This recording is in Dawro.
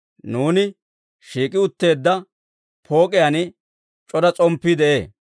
Nuuni shiik'i utteedda pook'iyaan c'ora s'omppii de'ee.